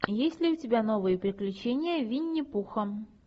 есть ли у тебя новые приключения винни пуха